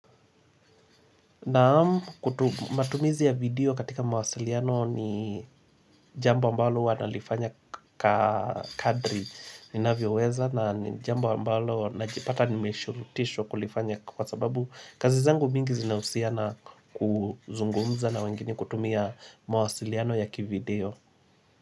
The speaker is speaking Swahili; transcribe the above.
Naam matumizi ya video katika mawasiliano ni jambo ambalo huwa nalifanya kadri ninavyoweza na jambo ambalo najipata nimeshulutishwa kulifanya Kwa sababu kazi zangu mingi zinahusiana kuzungumza na wengine kutumia mawasiliano yaki video.